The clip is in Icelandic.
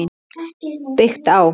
Byggt á